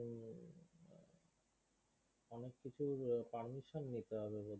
কিছু permission নিতে হবে